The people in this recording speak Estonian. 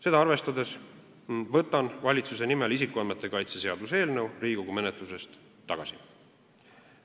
Seda arvestades võtan valitsuse nimel isikuandmete kaitse seaduse eelnõu Riigikogu menetlusest tagasi.